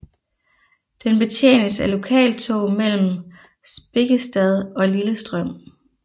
Den betjenes af lokaltog mellem Spikkestad og Lillestrøm